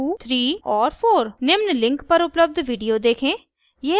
निम्न link पर उपलब्ध video देखें